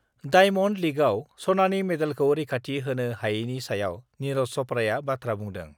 diamond लीगआव सनानि मेडेलखौ रैखाथि होनो हायैनि सायाव निरज चप्राआ बाथ्रा बुंदों